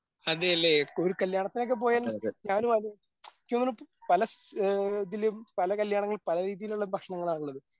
അതേല്ലേ ഒരു കല്യാണത്തിനൊക്കെ പോയാലും ഞാനും ആലോചിച്ചു പല സ്ഥ ഇതിലും പല കല്യാണങ്ങളിലും പല രീതിയിലുള്ള ഭക്ഷണങ്ങളാണുള്ളത്